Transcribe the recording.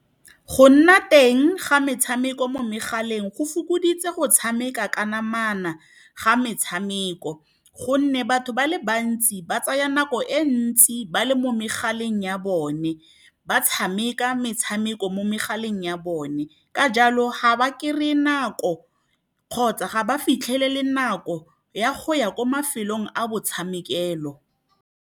Go nna teng ga metshameko mo megaleng go fokoditse go tshameka ka namana ga metshameko. Gonne batho ba le bantsi ba tsaya nako e ntsi ba le mo megaleng ya bone, ba tshameka metshameko mo megaleng ya bone. Ka jalo, ga ba kry-e nako kgotsa ga ba fitlhelele nako ya go ya ko mafelong a motshamekelo.